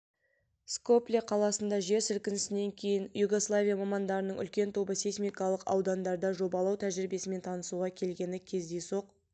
скопле қаласында жер сілкінісінен кейін югославия мамандарының үлкен тобы сейсмикалық аудандарында жобалау тәжірибесімен танысуға келгені кездейсоқ